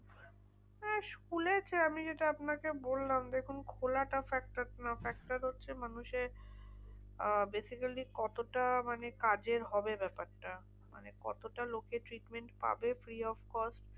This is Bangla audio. খুলেছে আমি যেটা আপনাকে বললাম, দেখুন খোলাটা factor নয়। factor হচ্ছে মানুষের আহ basically কতটা মানে কাজের হবে ব্যাপারটা। মানে কতটা লোকে treatment পাবে free of cost?